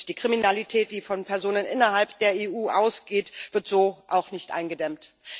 Die Kriminalität, die von Personen innerhalb der EU ausgeht, wird so auch nicht eingedämmt.